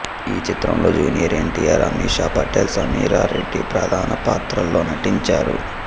ఈ చిత్రంలో జూనియర్ ఎన్టీఆర్ అమిషా పటేల్ సమీరా రెడ్డి ప్రధాన పాత్రల్లో నటించారు